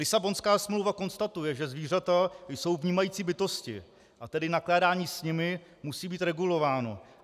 Lisabonská smlouva konstatuje, že zvířata jsou vnímající bytosti a tedy nakládání s nimi musí být regulováno.